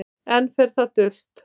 Enn fer það dult